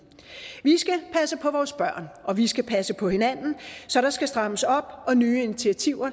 vi skal passe på vores børn og vi skal passe på hinanden så der skal strammes op og nye initiativer